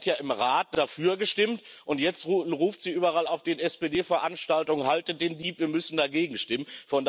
Sie hat ja im Rat dafür gestimmt, und jetzt ruft sie überall auf den SPD Veranstaltungen Haltet den Dieb, wir müssen dagegen stimmen!